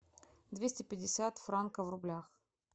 двести пятьдесят франков в рублях